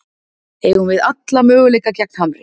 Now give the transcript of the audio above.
Eigum alla möguleika gegn Hamri